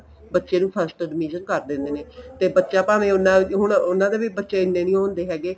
ਬੱਚੇ ਨੂੰ first division ਕਰ ਦਿੰਦੇ ਨੇ ਤੇ ਬੱਚਾ ਭਾਵੇ ਹੁਣ ਉੰਨਾ ਦਾ ਵੀ ਬੱਚੇ ਇੰਨੇ ਨਹੀਂ ਹੁੰਦੇ ਹੈਗੇ